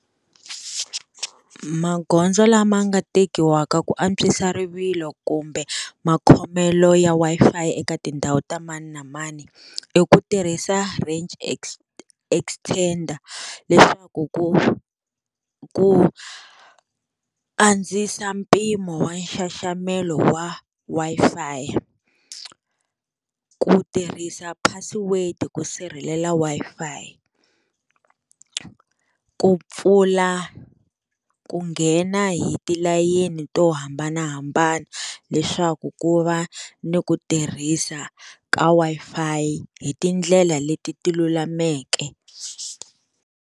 Magoza lama nga tekiwaka ku antswisa rivilo kumbe makhomelo ya Wi-Fi eka tindhawu ta mani na mani, i ku tirhisa range extender, leswaku ku ku andzisa mpimo wa nxaxamelo wa Wi-Fi, ku tirhisa password-i ku sirhelela Wi-Fi, ku pfula ku nghena hi tilayini to hambanahambana, leswaku ku va ni ku tirhisa ka Wi-Fi hi tindlela leti ti lulameke.